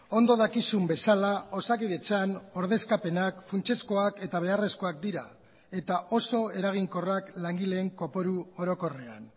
ondo dakizun bezala osakidetzan ordezkapenak funtsezkoak eta beharrezkoak dira eta oso eraginkorrak langileen kopuru orokorrean